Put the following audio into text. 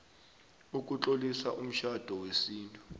sokutlolisa umtjhado wesintu